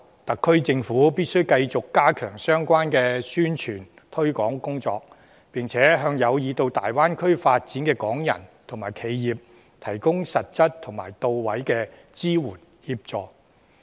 特區政府必須繼續加強相關的宣傳推廣工作，並向有意到大灣區發展的港人及企業，提供實質及到位的支援和協助。